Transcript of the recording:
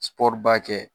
ba kɛ